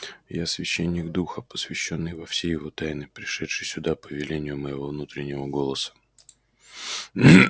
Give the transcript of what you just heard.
я священник духа посвящённый во все его тайны пришедший сюда по велению моего внутреннего голоса